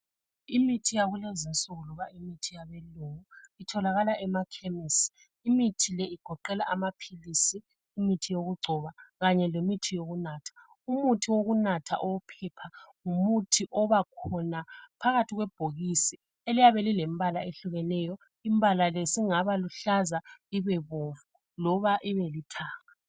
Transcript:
Imithi yakulezinsuku loba imithi yabelungu itholakala emakhemisi imithi le igoqela amaphilisi imithi yokugcoba kanye lemithi yokunatha. Umuthi wokunatha owophepha ngumuthi obakhona phakathi kwebhokisi eliyabe lilembala eyehlukeneyo. Imbalale singaba luhlaza ibebomvu loba ibelithanga.